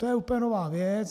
To je úplně nová věc.